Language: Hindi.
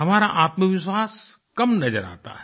हमारा आत्मविश्वास कम नज़र आता है